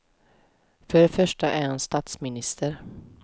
För det första är han statsminister.